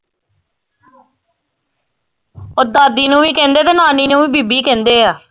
ਓ ਦਾਦੀ ਨੂੰ ਵੀ ਕਹਿੰਦੇ ਤੇ ਨਾਨੀ ਨੂੰ ਵੀ ਬੀਬੀ ਕਹਿੰਦੇ ਆ